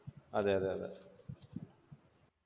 അതെ അതെ അതെ.